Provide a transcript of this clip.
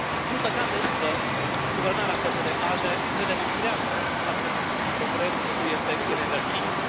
Din păcate însă, guvernarea PSD ALDE ne demonstrează că acest progres nu este ireversibil.